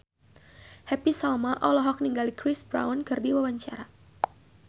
Happy Salma olohok ningali Chris Brown keur diwawancara